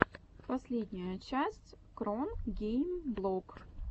последняя часть кронгеймблог